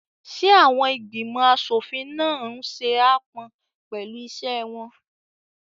Ṣé àwọn ìgbìmọ̀ aṣòfin náà n ṣe aápọn pẹ̀lú iṣẹ́ wọn?